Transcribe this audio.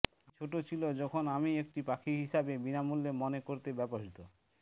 আমি ছোট ছিল যখন আমি একটি পাখি হিসাবে বিনামূল্যে মনে করতে ব্যবহৃত